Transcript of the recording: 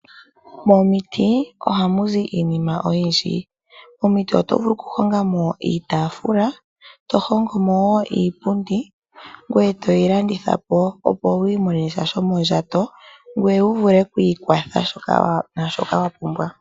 Momiti ohamu zi iinima oyindji. Momiti oto vulu okuhonga mo iitafula, e to hongo mo wo iipundi, ngoye toyi landithapo, opo wi imonene sha shomondjato, ngoye wuvule okwiikwatha naashoka wa pumbwa.